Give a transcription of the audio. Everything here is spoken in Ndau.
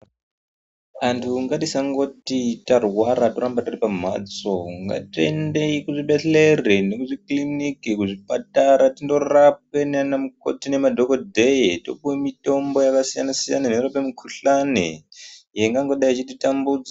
Vantu ngatisangoti kana tarwara toramba tiri pamhatso ngatiende kuzvibhedhlera nekuzvikiriniki kuzvipatara tindorapwa nanamukoti nemadhokodheya topuwa mitombo yakasiyana siyana inorape mukhuhlani ingangodayi ichititambudza.